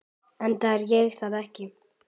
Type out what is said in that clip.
Enda er ég það ekki.